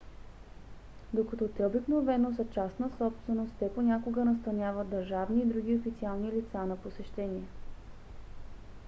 докато те обикновено са частна собственост те понякога настаняват държавни и други официални лица на посещение